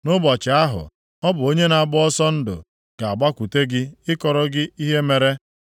nʼụbọchị ahụ, ọ bụ onye na-agba ọsọ ndụ ga-agbakwute gị ịkọrọ gị ihe mere.